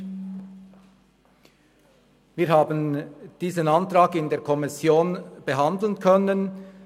der SiK. Wir haben diesen Antrag in der Kommission behandeln können.